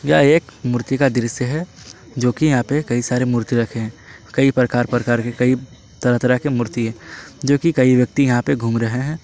यह एक मूर्ति का दृश्य है जो कि यहां पे कई सारे मूर्ति रखें है कई प्रकार प्रकार के कई तरह के मूर्ति है जो कि कई व्यक्ति यहां पे घूम रहे हैं।